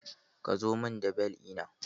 Ka zo mun da bel ɗina?